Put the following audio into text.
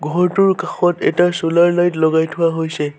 ঘৰটোৰ কাষত এটা চ'লাৰ লাইট লগাই থোৱা হৈছে।